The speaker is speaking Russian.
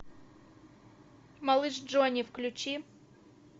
малыш джонни включи